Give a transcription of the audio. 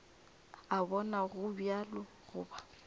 a bona go bjalo goba